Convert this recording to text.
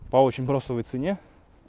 по очень бросовой цене